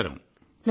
కళ్యాణి గారూ